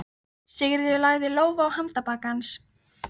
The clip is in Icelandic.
Sigríður lagði lófa á handarbak hans.